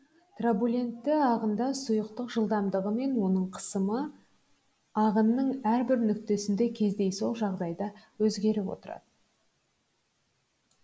труболентті ағында сұйықтық жылдамдығы мен оның қысымы ағынның әрбір нүктесінде кездейсоқ жағдайда өзгеріп отырады